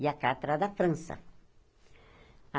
E a carta era da França.